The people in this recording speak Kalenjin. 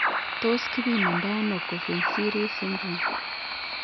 Tos kipimandano Coffin Siris syndrome?